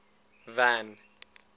van